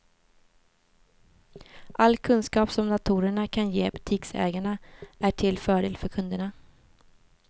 All kunskap som datorerna kan ge butiksägarna, är till fördel för kunderna.